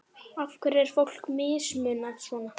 Af hverju er fólki mismunað svona?